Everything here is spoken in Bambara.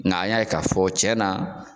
Nga a y'a k'a fɔ tiɲɛna